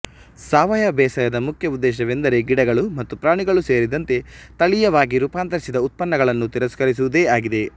ಸಾವಯವ ಬೇಸಾಯದ ಮುಖ್ಯ ಉದ್ದೇಶವೆಂದರೆ ಗಿಡಗಳು ಮತ್ತು ಪ್ರಾಣಿಗಳು ಸೇರಿದಂತೆ ತಳೀಯವಾಗಿ ರೂಪಾಂತರಿಸಿದ ಉತ್ಪನ್ನಗಳನ್ನು ತಿರಸ್ಕರಿಸುವುದೇ ಆಗಿದೆ